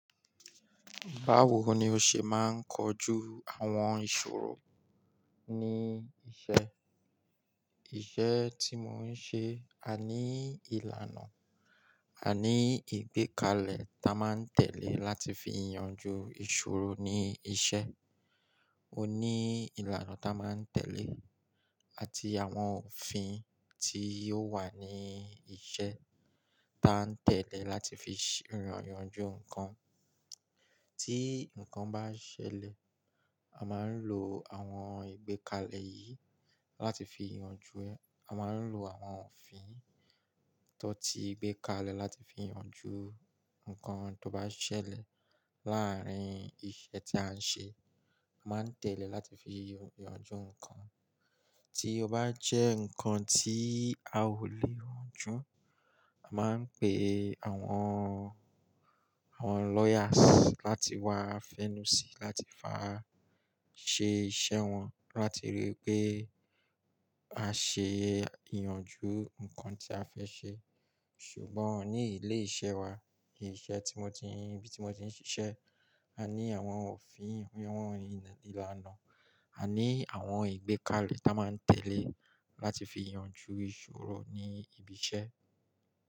Báwo ni o ṣe máa ń kojú àwọn ìṣòro ní iṣẹ́? Iṣẹ́ tí mo ń ṣe, a ní ìlànà, a ní ìgbékalẹ̀ tí a máa ń tẹ̀lé láti fi yanjú ìṣòro ní iṣẹ́. O ní ìlànà tí a máa ń tẹ̀lé àti àwọn òfin tí ó wà ní iṣẹ́ tí a ń tẹ̀lé láti fi ṣé yanjú nǹkan. Tí nǹkan bá ṣẹlẹ̀, a máa ń lo àwọn ìgbékalẹ̀ yìí láti fi yanjú ẹ. A máa ń lo àwọn òfin tó ti ìgbékalẹ̀ láti fi yanjú nǹkan tó bá ṣẹlẹ̀ láàárín iṣẹ́ tí a ń ṣe. A máa ń tẹ̀lé láti fi yanjú nǹkan. Tí ó bá jẹ́ nǹkan tí a ò lè yanjú, a máa ń pe àwọn, àwọn lawyers láti wá fẹ́nu síi láti wa ṣe iṣẹ́ wọn láti ríi pé a ṣe ìyànjú nǹkan tí a fẹ́ ṣe. Ṣùgbọ́n ní ilé iṣẹ́ wa, ilé iṣẹ́ tí mo ti ń, ibi tí mo ti ń ṣiṣẹ́, a ní àwọn òfin, àwọn ìlànà, a ní àwọn ìgbékalẹ̀ tí a máa ń tẹ̀lé láti fi yanjú ìṣòro ní ibi iṣẹ́.